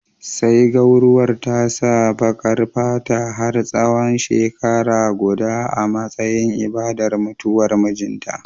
Sai gwauruwar ta sa baƙar fata har tsawon shekara guda a matsayin ibadar mutuwar mijinta